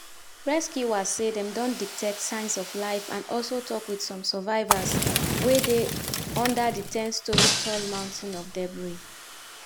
rescuers say dem don detect signs of life and also tok wit some survivors wey dey under di 10-storey tall mountain of debris.